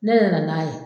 Ne yɛrɛ nana n'a ye